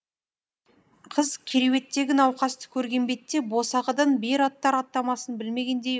қыз кереуеттегі науқасты көрген бетте босағадан бері аттар аттамасын білмегендей